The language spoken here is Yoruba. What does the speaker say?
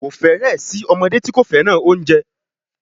Kò fẹ́rẹ̀ẹ́ sí ọmọdé tí kò fẹ́ràn oúnjẹ